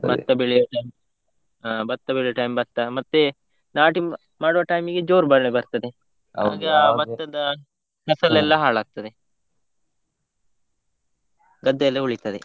ಭತ್ತ ಬೆಳೆಯುವ time , ಹಾ ಭತ್ತ ಬೆಳೆಯುವ time ಭತ್ತ, ಮತ್ತೆ ನಾಟಿ ಮಾಡುವ time ಈಗೆ ಜೋರ್ ಮಳೆ ಬರ್ತದೆ, . ಹಾಗೆ ಆ ಭತ್ತದ ಫಸಲ್ ಎಲ್ಲಾ ಹಾಳಾಗ್ತದೆ. ಗದ್ದೆಯಲ್ಲೇ ಉಳಿತದೆ